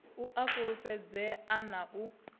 u a fulufhedzea na u